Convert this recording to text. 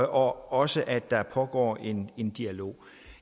også at der pågår en en dialog